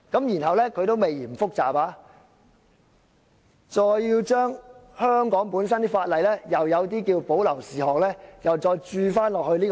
然後，還未嫌做法複雜，要將香港有關條例中的保留事項，又再注入這個"洞"。